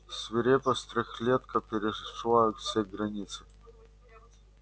свирепость трёхлетка перешла все границы